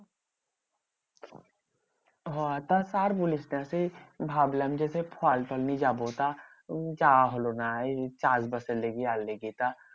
হ্যাঁ তো আর বলিস না? সে ভাবলাম যে সে ফল টল নিয়ে যাবো। তা উম যাওয়া হলো না। চাষবাসের লেগে আর লেগে। তা